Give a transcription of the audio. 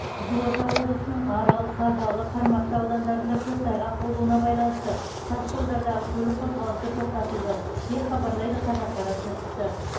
қызылорда облысының арал қазалы қармақшы аудандарында көктайғақ болуына байланысты тасжолдардағы көлік қозғалысы тоқтатылды деп хабарлайды қазақпарат тілшісі